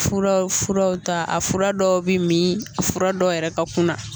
Furawfuraw ta a fura dɔw bi min a fura dɔw yɛrɛ ka kunna